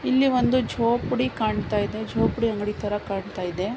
ಇಲ್ಲಿ ಒಂದು ಜೋಪಡಿ ಕಾಣತ್ತಾಯಿದೆ ಜೋಪಡಿ ಅಂಗಡಿತರ ಕಾಣತ್ತಾಯಿದೆ.